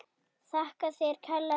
Þakka þér kærlega fyrir.